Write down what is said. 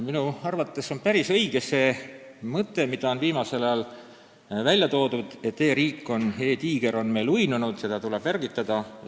Minu arvates on päris õige see mõte, mida on viimasel ajal välja toodud, et e-riik, e-tiiger ehk digitiiger on meil uinunud, seda tuleb äratada, uuesti ergastada.